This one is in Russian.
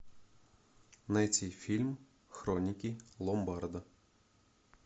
найти фильм хроники ломбарда